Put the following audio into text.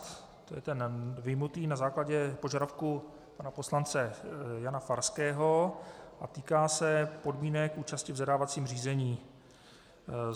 To je ten vyjmutý na základě požadavku pana poslance Jana Farského a týká se podmínek účasti v zadávacím řízení.